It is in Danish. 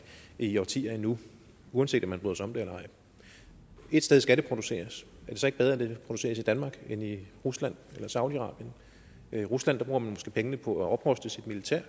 i årtier endnu uanset om man bryder sig om det eller ej ét sted skal det produceres og det så ikke bedre at det produceres i danmark end i rusland eller saudi arabien i rusland bruger man måske pengene på at opruste sit militær